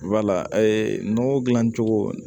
Wala nɔgɔ dilan cogo